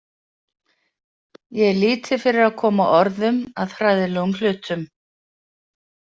Ég er lítið fyrir að koma orðum að hræðilegum hlutum.